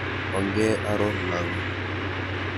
Onge aror lagok.